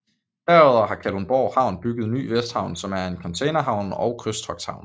Derudover har Kalundborg Havn bygget Ny Vesthavn som er en containerhavn og krydstogthavn